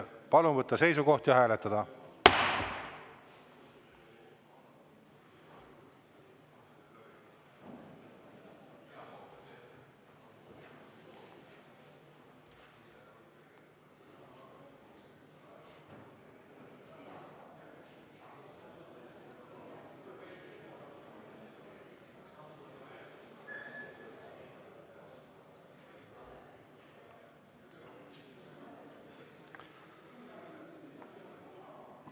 Palun võtta seisukoht ja hääletada!